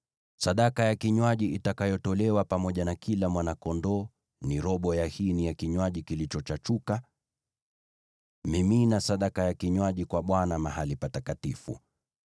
Sadaka ya kinywaji itakayotolewa pamoja na kila mwana-kondoo ni robo ya hini ya kinywaji kilichochachuka. Mimina sadaka ya kinywaji kwa Bwana mahali patakatifu.